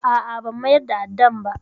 A'a, ban mayar da addan ba.